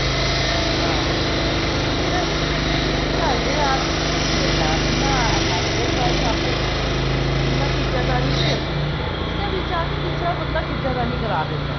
ਅੱਗੇ ਵੇਸੇ ਜੇ ਦੇਖਿਆ ਜਾਵੇ ਨਾ ਢਲਦੇ ਆਦਮੀ ਵੀ ਨੀ ਇੰਨਾ ਇੰਨਾ husband wife ਆਪਸ ਵਿੱਚ ਇੰਨਾ ਖਿਚਾ ਤਨੀ ਨੀ ਕਰਦੇ ਜਿੰਨਾ ਵਿੱਚ ਆ ਕੇ ਤੀਸਰਾ ਬੰਦਾ ਖਿਚਾ ਤਾਣੀ ਕਰ ਦਿੰਦਾ